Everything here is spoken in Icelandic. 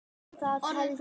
Orðin fugl.